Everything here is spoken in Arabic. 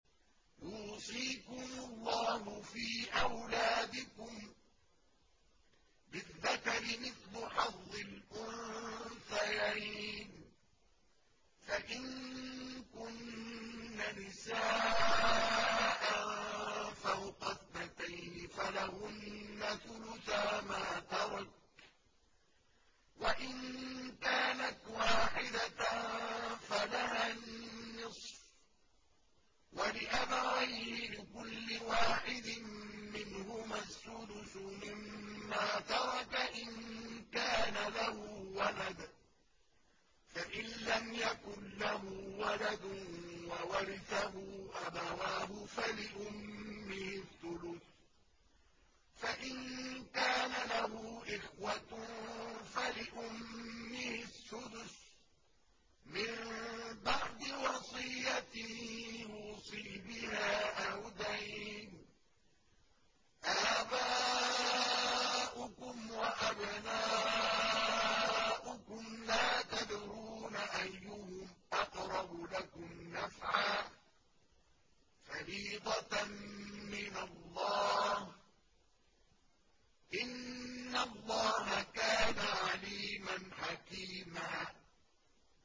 يُوصِيكُمُ اللَّهُ فِي أَوْلَادِكُمْ ۖ لِلذَّكَرِ مِثْلُ حَظِّ الْأُنثَيَيْنِ ۚ فَإِن كُنَّ نِسَاءً فَوْقَ اثْنَتَيْنِ فَلَهُنَّ ثُلُثَا مَا تَرَكَ ۖ وَإِن كَانَتْ وَاحِدَةً فَلَهَا النِّصْفُ ۚ وَلِأَبَوَيْهِ لِكُلِّ وَاحِدٍ مِّنْهُمَا السُّدُسُ مِمَّا تَرَكَ إِن كَانَ لَهُ وَلَدٌ ۚ فَإِن لَّمْ يَكُن لَّهُ وَلَدٌ وَوَرِثَهُ أَبَوَاهُ فَلِأُمِّهِ الثُّلُثُ ۚ فَإِن كَانَ لَهُ إِخْوَةٌ فَلِأُمِّهِ السُّدُسُ ۚ مِن بَعْدِ وَصِيَّةٍ يُوصِي بِهَا أَوْ دَيْنٍ ۗ آبَاؤُكُمْ وَأَبْنَاؤُكُمْ لَا تَدْرُونَ أَيُّهُمْ أَقْرَبُ لَكُمْ نَفْعًا ۚ فَرِيضَةً مِّنَ اللَّهِ ۗ إِنَّ اللَّهَ كَانَ عَلِيمًا حَكِيمًا